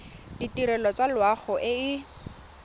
ditirelo tsa loago e e